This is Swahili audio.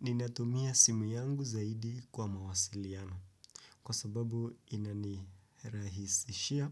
Ninatumia simu yangu zaidi kwa mawasiliano. Kwa sababu ina nirahisishia